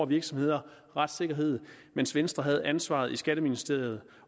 virksomheders retssikkerhed mens venstre havde ansvaret i skatteministeriet